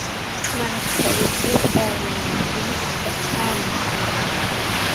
Malabka wuxuu caawiyaa dhimista caabuqa indhaha.